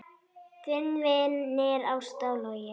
Þínir vinir Ásta og Logi.